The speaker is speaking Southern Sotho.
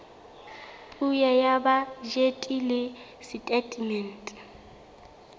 puo ya bajete le setatemente